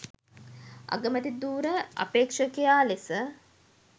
අගමැති ධුර අපේක්ෂකයා ලෙස